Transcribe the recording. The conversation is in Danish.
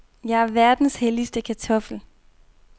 Jeg er verdens heldigste kartoffel.